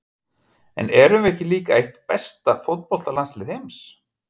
En erum við ekki líka eitt besta fótboltalandslið heims?